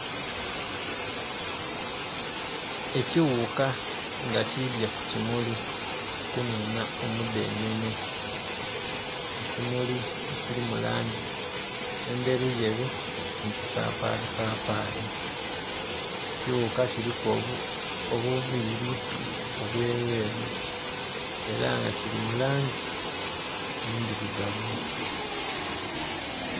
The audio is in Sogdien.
Ekighuka nga kidhye ku kimuli kununha omu dhenene ekimuli ekili mu langi endheru yeru nhi kipapali papali ekighuka kuliku obuviri obweru yeru era nga kili mu langi endhirugavu.